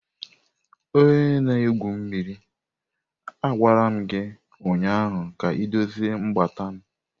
Onye na-egwu mmiri, a gwara m gị ụnyaahụ ka m dozie mgbata m!